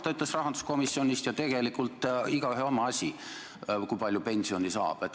Ta ütles rahanduskomisjonis, et tegelikult on igaühe oma asi, kui palju ta pensioni saab.